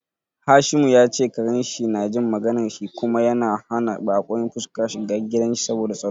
Hashimu ya ce karen shi na jin maganar shi kuma yana hana bakon fuska shiga gidan shi saboda tsaro.